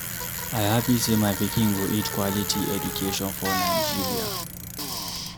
I happy say my pikin go get quality education for Nigeria.